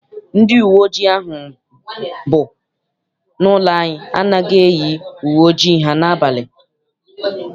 Ndị uwe ojii ahụ bụ n'ụlọ anyị anaghị eyi uwe ojii ha n'abalị.